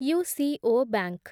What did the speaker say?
UCO bank